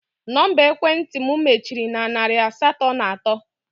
Nọmba ekwentị m mechiri na narị asatọ na atọ